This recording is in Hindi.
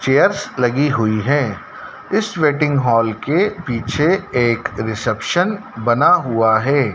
चेयर्स लगी हुई है इस वेटिंग हॉल के पीछे एक रिसेप्शन बना हुआ है।